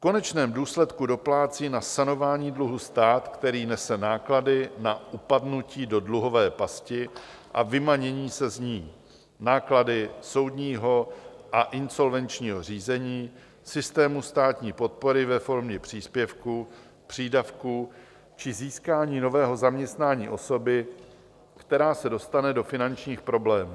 V konečném důsledku doplácí na sanování dluhu stát, který nese náklady na upadnutí do dluhové pasti a vymanění se z ní, náklady soudního a insolvenčního řízení systému státní podpory ve formě příspěvku, přídavku či získání nového zaměstnání osoby, která se dostane do finančních problémů.